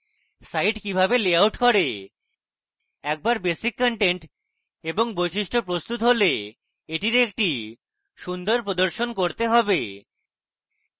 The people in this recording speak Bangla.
site কিভাবে লেআউট করেএকবার বেসিক কন্টেন্ট এবং বৈশিষ্ট্য প্রস্তুত হলে এটির একটি সুন্দর প্রদর্শন করতে হবে